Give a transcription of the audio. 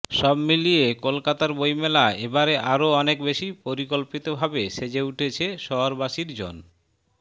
সব মিলিয়ে কলকাতার বইমেলা এবারে আরও অনেক বেশি পরিকল্পিতভাবে সেজে উঠেছে শহরবাসীর জন্